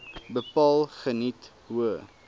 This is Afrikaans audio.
bepaal geniet hoë